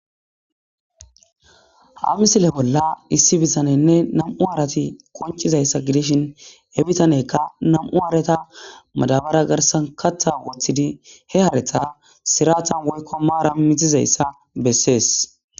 Ha misile bolla issi bitaneynne nam'u hareti qoncizayssa gidishin, he bitaneyka nam'u hareta madaabara garsan kaththa woththidi, he hareta siraatan woykko maaran mizizaysa besees.